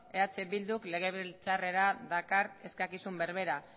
eh bilduk legebiltzarrera dakar eskakizun berbera